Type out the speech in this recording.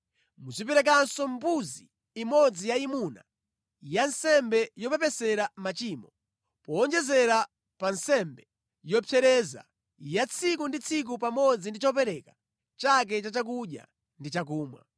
Muziperekanso mbuzi imodzi yayimuna ya nsembe yopepesera machimo, powonjezera pa nsembe yopsereza ya tsiku ndi tsiku pamodzi ndi chopereka chake cha chakudya ndi chakumwa.